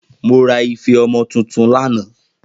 Mo ra ife omo tuntun lana